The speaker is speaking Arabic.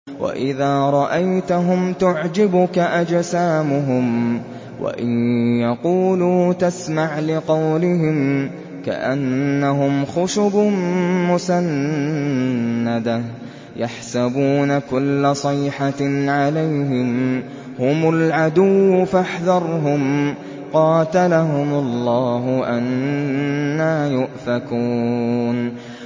۞ وَإِذَا رَأَيْتَهُمْ تُعْجِبُكَ أَجْسَامُهُمْ ۖ وَإِن يَقُولُوا تَسْمَعْ لِقَوْلِهِمْ ۖ كَأَنَّهُمْ خُشُبٌ مُّسَنَّدَةٌ ۖ يَحْسَبُونَ كُلَّ صَيْحَةٍ عَلَيْهِمْ ۚ هُمُ الْعَدُوُّ فَاحْذَرْهُمْ ۚ قَاتَلَهُمُ اللَّهُ ۖ أَنَّىٰ يُؤْفَكُونَ